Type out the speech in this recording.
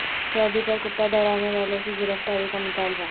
سعودی پر کتا دوڑانے والوں کی گرفتاری کا مطالبہ